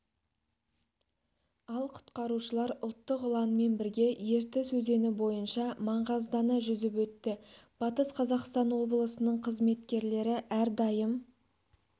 ал құтқарушылар ұлттық ұланмен бірге ертіс өзені бойынша маңғаздана жүзіп өтті батыс қазақстан облысының қызметкерлері әрдайым